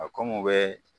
A ko n bɛ